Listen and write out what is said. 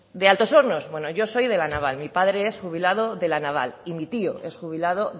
de altos hornos bueno yo soy de la naval mi padre es jubilado de la naval y mi tío es jubilado